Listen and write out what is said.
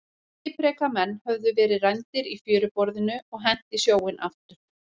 Skipreika menn höfðu verið rændir í fjöruborðinu og hent í sjóinn aftur.